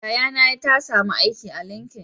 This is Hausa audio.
Yayana ta samu aiki ta linkin